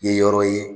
Ye yɔrɔ ye